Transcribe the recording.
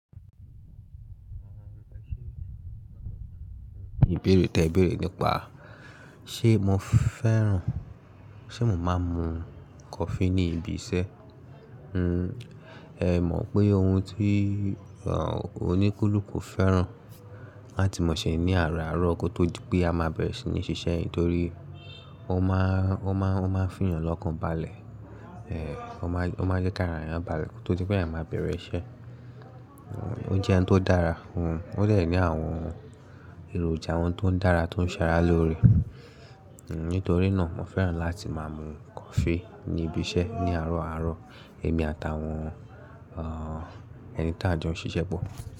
Ìbéèrè tí ẹ béèrè nípa ṣé mo fẹ́ràn, ṣé mo máa ń mu coffee ní ibi iṣẹ́. Uh, ẹ mọ̀ pé ohun tí, ehn, oníkúlù kò fẹ́ràn láti mọ̀ ṣe ní àárọ̀ àárọ̀ kó tó di pé a máa bẹ̀rẹ̀ sí ní ṣiṣẹ́ nítorí ó máa, ó máa fin yàn lọ́kàn balẹ̀. Ehn, ó máa jẹ́ ká lè rà yàn balẹ̀ kó tó di pé à máa bẹ̀rẹ̀ iṣẹ́. O jẹ́ ohun tó dára uhn, ó dè ní àwọn èròjà ọhun tó ń dára tó ń ṣaralóore. Nítorí náà, mo fẹ́ràn láti máa mu coffee ní ibi iṣẹ́ ní àárọ̀ àárọ̀, èmi àtàwọn, ehn, ẹni tí a jẹ́ ó ń ṣiṣẹ́ pọ̀.